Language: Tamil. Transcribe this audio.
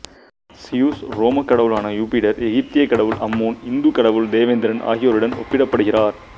சியுசு ரோமக் கடவுளான யூபிடர் எகிப்திய கடவுள் அம்மோன் இந்துக் கடவுள் தேவேந்திரன் ஆகியோருடன் ஒப்பிடப்படுகிறார்